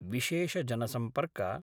विशेषजनसम्पर्क